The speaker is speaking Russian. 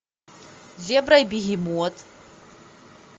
зебра и бегемот